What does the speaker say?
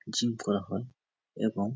gym করা হয় এবং --